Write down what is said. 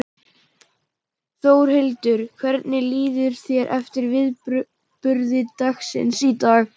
Þórhildur: Hvernig líður þér eftir viðburði dagsins í dag?